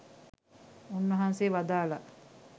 උන්වහන්සේ වදාළා